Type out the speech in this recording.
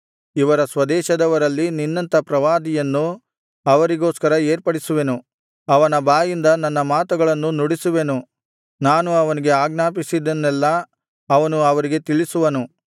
ಇವರ ಸ್ವದೇಶದವರಲ್ಲಿ ನಿನ್ನಂಥ ಪ್ರವಾದಿಯನ್ನು ಅವರಿಗೋಸ್ಕರ ಏರ್ಪಡಿಸುವೆನು ಅವನ ಬಾಯಿಂದ ನನ್ನ ಮಾತುಗಳನ್ನು ನುಡಿಸುವೆನು ನಾನು ಅವನಿಗೆ ಆಜ್ಞಾಪಿಸಿದ್ದನ್ನೆಲ್ಲಾ ಅವನು ಅವರಿಗೆ ತಿಳಿಸುವನು